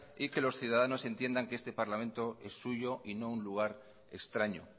y que los ciudadanos entiendan que este parlamento es suyo y no un lugar extraño